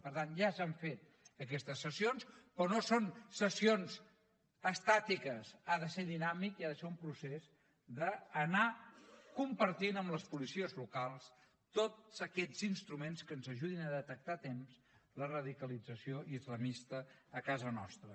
per tant ja s’han fet aquestes sessions però no són sessions estàtiques ha de ser dinàmic i ha de ser un procés d’anar compartint amb les policies locals tots aquests instruments que ens ajudin a detectar a temps la radicalització islamista a casa nostra